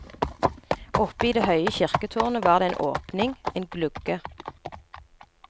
Oppe i det høye kirketårnet var det en åpning, en glugge.